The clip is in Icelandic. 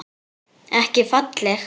Ekki falleg.